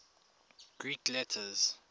greek letters